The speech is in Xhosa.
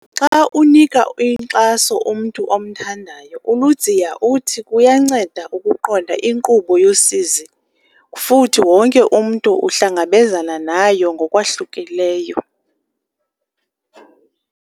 Xa unika inkxaso umntu omthandayo, uLudziya uthi kuyanceda ukuqonda inkqubo yosizi futhi wonke umntu uhlangabezana nayo ngokwahlukileyo.